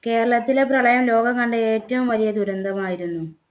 കേരളത്തിലെ പ്രളയം ലോകം കണ്ട ഏറ്റവും വലിയ ദുരന്തമായിരുന്നു